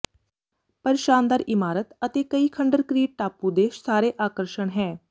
ਪਰ ਸ਼ਾਨਦਾਰ ਇਮਾਰਤ ਅਤੇ ਕਈ ਖੰਡਰ ਕ੍ਰੀਟ ਟਾਪੂ ਦੇ ਸਾਰੇ ਆਕਰਸ਼ਣ ਹੈ